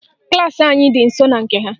Klaasị anyị dị nsọ na nke ha